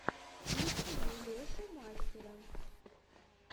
включи мне лешу мастера